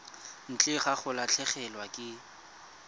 ntle ga go latlhegelwa ke